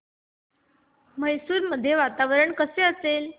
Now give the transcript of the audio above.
मैसूर मध्ये वातावरण कसे असेल